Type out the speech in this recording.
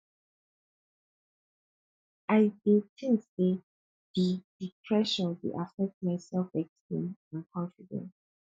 i dey think say di di pressure dey affect my selfesteem and confidence